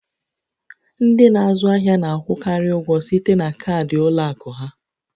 Ndị n'azụ ahịa na-akwụkarị ụgwọ site na kaadị ụlọ akụ ha